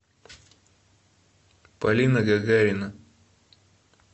полина гагарина